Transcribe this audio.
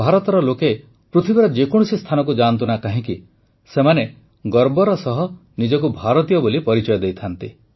ଭାରତର ଲୋକ ପୃଥିବୀର ଯେକୌଣସି ସ୍ଥାନକୁ ଯାଆନ୍ତୁ ନା କାହିଁକି ସେମାନେ ଗର୍ବର ସହ ନିଜକୁ ଭାରତୀୟ ବୋଲି ପରିଚୟ ଦେଇଥାନ୍ତି